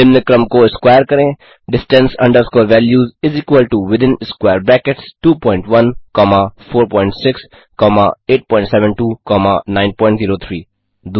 निम्न क्रम को स्क्वायर करें distance underscore valueswithin square bracket 21 comma 46 comma 872 comma 903 2